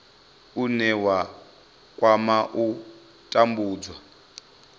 une wa kwama u tambudzwa